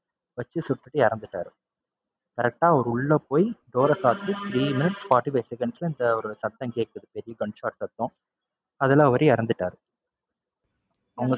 வச்சு சுட்டுட்டு இறந்துட்டாரு. correct ஆ அவரு உள்ள போய் door அ சாத்தி three minutes forty-five seconds ல இந்த ஒரு சத்தம் கேக்குது பெரிய gunshot சத்தம். அதுல அவரு இறந்துட்டாரு. அவங்க